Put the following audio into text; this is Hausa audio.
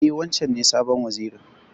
E, wancen ne sabon Wazirin.